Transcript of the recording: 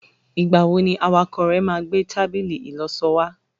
igbawo ni awakọ rẹ ma gbe tábìlì ìloso wa